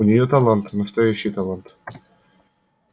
у нее талант настоящий талант